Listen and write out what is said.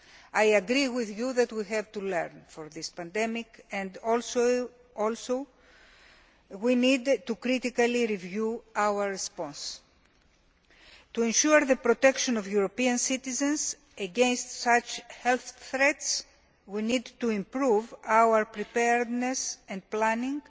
I agree with you that we have to learn from this pandemic and also that we need to critically review our response. To ensure the protection of European citizens against such health threats, we need to improve our preparedness and planning